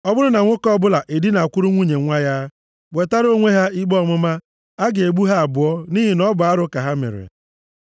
“ ‘Ọ bụrụ na nwoke ọbụla edinakwuru nwunye nwa ya, wetara onwe ha ikpe ọmụma, a ga-egbu ha abụọ nʼihi na ọ bụ arụ ka ha mere.